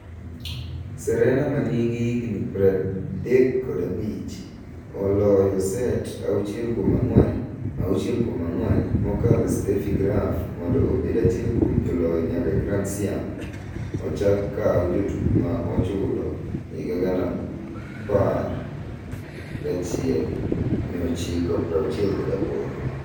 Serena manigi higni 35, ooloyo set 6-4, 6-4 mokalo Steffi Graf mondo obed achiel kuom joloyo nyaka Grand Siam ochak kaw jotugo ma ichulo 1968.